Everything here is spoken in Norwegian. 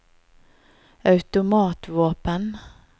automatvåpen